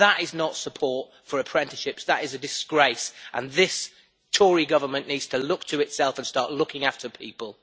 That is not support for apprenticeships, that is a disgrace and this Tory government needs to look to itself and start looking after people.